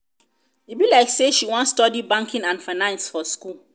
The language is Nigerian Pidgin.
e be like say she wan study banking and finance for school.